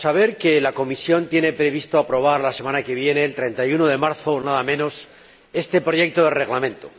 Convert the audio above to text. que la Comisión tiene previsto aprobar la semana que viene, el 31 de marzo nada menos, este proyecto de Reglamento.